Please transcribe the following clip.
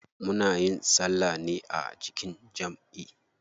Muna yin salla ne a jikin jamʼi.